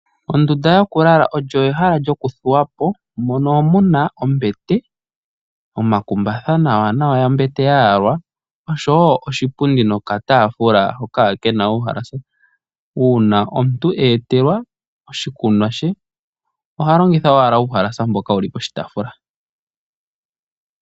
Ondunda yokulala olyo ehala ndyoka lyokuthuwapo mono muna ombete, omakumbatha gayalwa nawa noshowoo oshipundi nokataafula hono kena uuhalasa . Uuna omuntu eetelwa oshikunwa she oha longitha owala uuhalasa mboka wuli poshipundi.